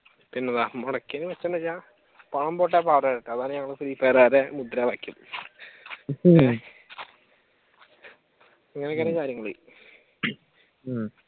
പിന്നെന്താ മുടക്കിയതിന് മെച്ചമെന്ന് വെച്ചാൽ പണം അതാണ് ഞങ്ങൾ ഫ്രീഫയറുകാരുടെ മുദ്രാവാഖ്യം ഏഹ് അങ്ങനൊക്കെ ആണ് കാര്യങ്ങൾ ഉം